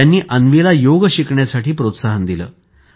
त्यांनी अन्वीला योग शिकण्यासाठी प्रोत्साहन दिले